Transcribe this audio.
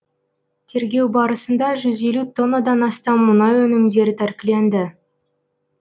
тергеу барысында жүз елу тоннадан астам мұнай өнімдері тәркіленді